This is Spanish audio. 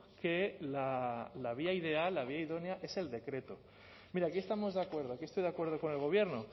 que la vía ideal la vía idónea es el decreto mire aquí estamos de acuerdo aquí estoy de acuerdo con el gobierno